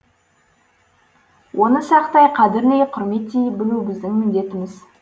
оны сақтай қадірлей құрметтей білу біздің міндетіміз